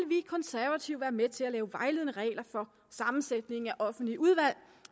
vi konservative være med til at lave vejledende regler for sammensætningen af offentlige udvalg